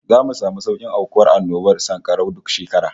Zamu samu saukin aukuwar annobar sankarau duk shekara